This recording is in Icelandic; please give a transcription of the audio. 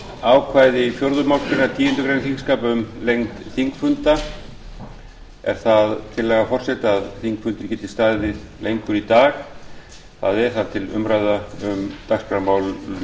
ákvæði fjórðu málsgreinar tíundu greinar þingskapa um lengd þingfunda er það tillaga forseta að þingfundur geti staðið lengur í dag það er þar til umræðu um dagskrármálin